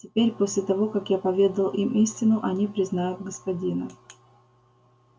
теперь после того как я поведал им истину они признают господина